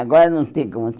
Agora não tem como.